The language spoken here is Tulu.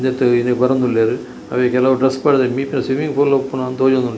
ಇಂದೆತ್ತ್‌ ಬರೋಂದುಲ್ಲೇರ್‌ ಅವೆ ಕೆಲವು ಡ್ರೆಸ್‌ ಪಾಡ್ದೇರ್‌ ಮಿತ್ತ್‌ ಸ್ವಿಮ್ಮಿಂಗ್‌ಪೂಲ್‌ ಉಪ್ಪುನ ತೋಜೋಂದುಂಡು.